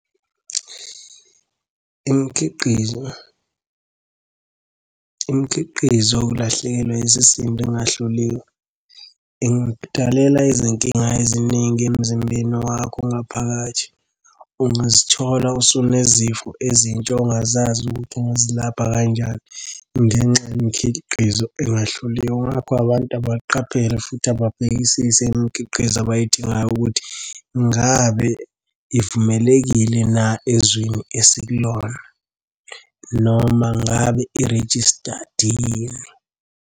Imikhiqizo, imikhiqizo yokulahlekelwa isisindo engahloliwe ingakudalela izinkinga eziningi emzimbeni wakho ngaphakathi. Ungazithola usunezifo ezintsha ongazazi ukuthi ungazilapha kanjani ngenxa yemikhiqizo engahloliwe. Ngakho abantu abaqaphele futhi ababhekisise imikhiqizo abayidingayo ukuthi ngabe ivumelekile na ezwini esikulona noma ngabe i-registered yini.